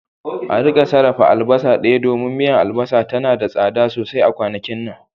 a rika sarrafa albasa daya domin miya, albasa tana da tsada sosai a kwanakin nan